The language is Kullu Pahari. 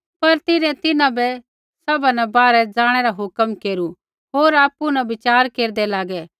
पर तिन्हैं तिन्हां बै सभा न बाहरै ज़ाणै रा हुक्म केरू होर आपु न वचार केरदै लागै